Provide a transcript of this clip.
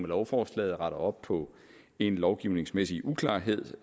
lovforslaget retter op på en lovgivningsmæssig uklarhed